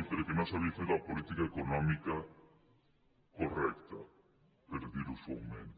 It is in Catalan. i perquè no s’havia fet la política econòmica correcta per dir·ho suaument